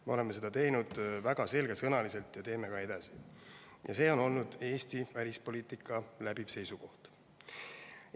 Me oleme seda teinud väga selgesõnaliselt ja teeme ka edasi, see on olnud Eesti välispoliitika läbiv seisukoht.